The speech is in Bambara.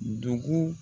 Dugu